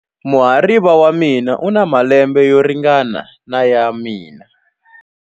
Muhariva wa mina u na malembe yo ringana na ya mina.